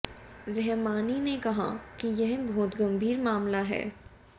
रहमानी ने कहा कि यह बहुत गंभीर मामला है